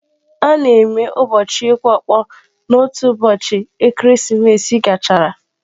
A na-eme ụbọchị ịkụ ọkpọ n'otu ụbọchị ekeresimesi gachara